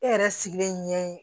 E yɛrɛ sigilen ɲɛ ye